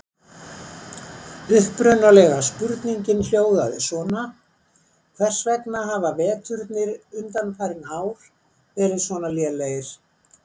Upprunalega spurningin hljóðaði svona: Hvers vegna hafa veturnir undanfarin ár verið svona lélegir?